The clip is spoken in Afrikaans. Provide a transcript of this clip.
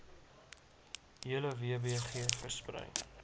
hele wbg versprei